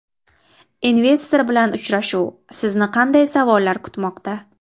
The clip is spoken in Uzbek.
Investor bilan uchrashuv: sizni qanday savollar kutmoqda?.